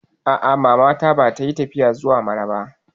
A'a, Mama na ba ta yi tafiya zuwa Mararaba ba